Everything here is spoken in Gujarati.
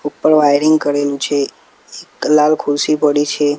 ઉપર વાઇરીંગ કરેલુ છે એક લાલ ખુરશી પડી છે.